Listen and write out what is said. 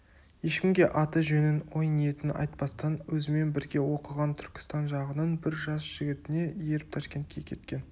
ешкімге аты-жөнін ой-ниетін айтпастан өзімен бірге оқыған түркістан жағының бір жас жігітіне еріп ташкентке кеткен